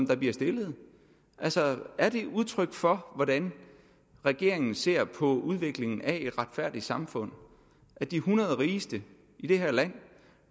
der bliver stillet altså er det udtryk for hvordan regeringen ser på udviklingen af et retfærdigt samfund at de hundrede rigeste i det her land